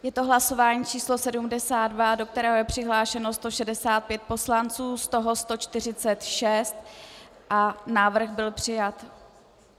Je to hlasování číslo 72, do kterého je přihlášeno 165 poslanců, z toho 146 a návrh byl přijat.